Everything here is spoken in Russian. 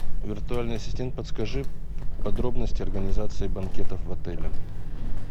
виртуальный ассистент подскажи подробности организации банкетов в отеле